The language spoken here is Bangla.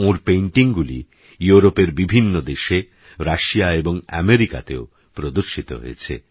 ওঁরpaintingগুলিইউরোপেরবিভিন্নদেশে রাশিয়াএবংআমেরিকাতেওপ্রদর্শিতহয়েছে